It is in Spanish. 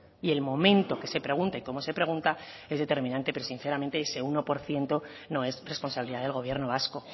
y el momento que se pregunta y cómo se pregunta es determinante pero sinceramente ese uno por ciento no es responsabilidad del gobierno vasco